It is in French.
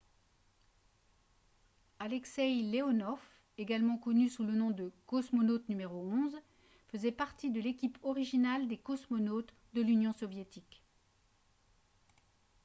alexeï leonov également connu sous le nom de « cosmonaute n° 11 » faisait partie de l'équipe originale des cosmonautes de l'union soviétique